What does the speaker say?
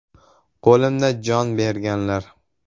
Qo‘limda jon berganlar.